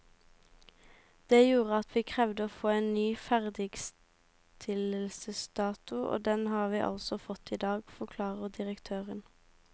Det gjorde at vi krevde å få en ny ferdigstillelsesdato, og den har vi altså fått i dag, forklarer direktøren.